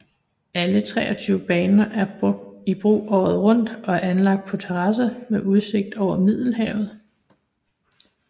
Alle 23 baner er i brug året rundt og er anlagt på terrasser med udsigt over Middelhavet